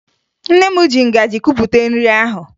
Nne m ji ngaji kupụta nri ahụ